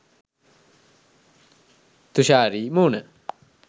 තුෂාරි මූණ